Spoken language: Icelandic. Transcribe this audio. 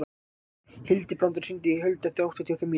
Hildibrandur, hringdu í Huld eftir áttatíu og fimm mínútur.